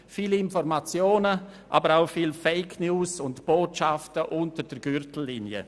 viele Informationen, aber auch viele Fake-News und Botschaften unter der Gürtellinie.